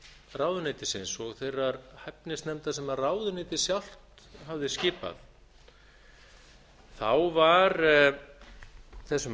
ráðuneytisins og þeirrar hæfnisnefndar sem ráðuneytið sjálft hafði skipað var þessum